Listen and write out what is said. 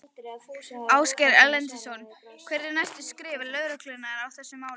Ásgeir Erlendsson: Hver eru næstu skref lögreglunnar í þessu máli?